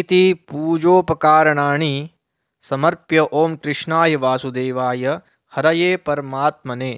इति पूजोपकारणानि समर्प्य ॐ कृष्णाय वासुदेवाय हरये परमात्मने